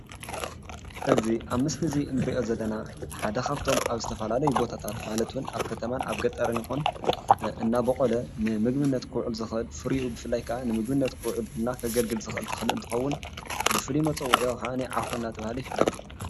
እዚ አብ ምስሊ እዚ እንሪኦ ዘለና ሓደ ኻብቶም ኣብ ዝተፈላለዩ ቦታታት ማለት እውን ኣብ ከተማን ኣብ ገጠርን ይኹን እናቦቖለ ንምግብነት ክውዕል ዝኽእል ፍሪኡ ብፍላይ ከኣ ንምግብነት ክውዕል እና ከገልግል ዝኽእል ተኽሊ እንትኸውን ብፉሉይ መፀዊዕኡ ከኣኒ ዓዂ እናተባህለ ይፍለጥ፡፡